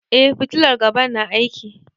Eh fitilar gaba na aiki.